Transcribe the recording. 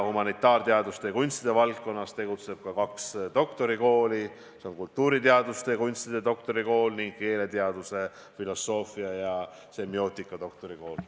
Humanitaarteaduste ja kunstide valdkonnas tegutseb ka kaks doktorikooli: need on kultuuriteaduste ja kunstide doktorikool ning keeleteaduse, filosoofia ja semiootika doktorikool.